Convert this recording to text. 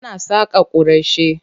Ana saƙa kwarashi.